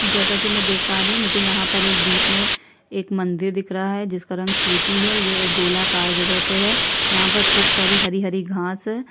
जैसा की मैं देख पा रहीं हूँ मुझे यहाँ पर बीच में एक मंदिर दिख रहा है जिसका रंग स्लेटी है ये एक गोलाकार जगह पे है यहाँ पर खूब सारी हरी-हरी घाँस हैं।